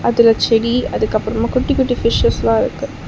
அதுல செடி அதுக்கப்றமா குட்டி குட்டி பிஷ்ஷஸ்லா இருக்கு.